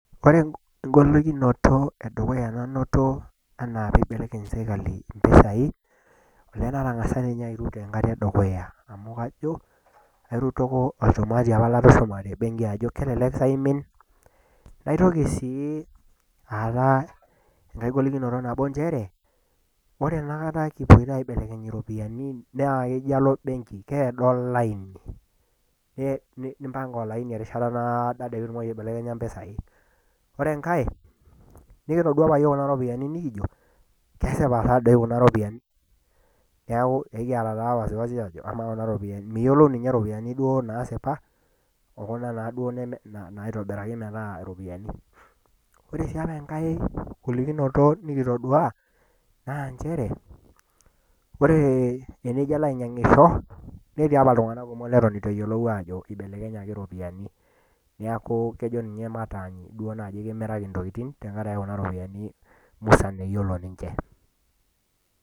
Ore engolikinoto nainoto anaa peibelekeny serkali impisai, oo natang'asa naa airut enkata e dukuya, amu kajo airutoko olchumati opa latushuma tembenki ajo kelelek sa eimin. Naitoki sii aatau enkai golikinoto nabo nchere, ore enapookata kipuoita aibelekeny iropiani naa kajo alo embenki keado olaini, nimpang'a olaini erishata naado ade pee itilaki aibelekenya impisai. Ore enkai, nekitodua opa iyiok kuna ropiani nekijo, kesipa sa kuna ropiani, neaku ekiata taa wasiwasi aajo kamaa taa kuna ropiani, miyiolou duo iropiani naasipa o kunda naa duo naitobiraki metaa iropiani. Ore sii opa enkai, golikinoto nekitodua naa nchere, ore tenijo ilo ainyang'isho, netii pa iltung'ana kumok oleng' lewuweitu eyiolou aajo eibelekenyaki iropiani, neaku kejo ninye matany duo naaji kimiraki intokitin tenkaraki kuna ropiani musan eyiolo ninche.